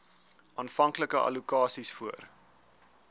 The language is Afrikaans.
aanvanklike allokasies voor